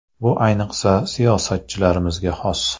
Bu, ayniqsa, siyosatchilarga xos”.